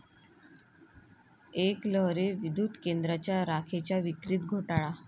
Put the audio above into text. एकलहरे विद्युत केंद्रात राखेच्या विक्रीत घोटाळा